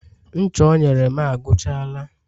ncha o nyere m agwuchala